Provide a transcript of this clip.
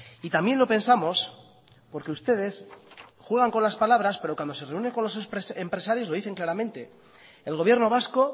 y también lo pensamos porque ustedes juega con las palabras pero cuando se reúne con los empresarios lo dicen claramente el gobierno vasco